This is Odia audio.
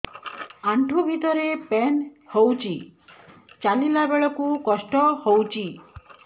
ଆଣ୍ଠୁ ଭିତରେ ପେନ୍ ହଉଚି ଚାଲିଲା ବେଳକୁ କଷ୍ଟ ହଉଚି